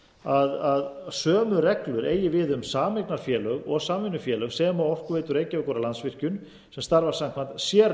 rétt að sömu reglur eigi við um sameignarfélög og samvinnufélög sem og orkuveitu reykjavíkur og landsvirkjun sem starfa samkvæmt sérlögum það er